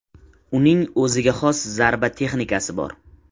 Uning o‘ziga xos zarba texnikasi bor.